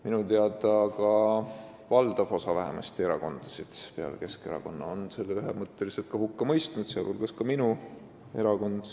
Minu teada on peale Keskerakonna vähemasti valdav osa erakondasid selle ühemõtteliselt ka hukka mõistnud, sh minu erakond.